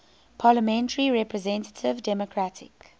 parliamentary representative democratic